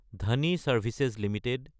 ধনী services Ltd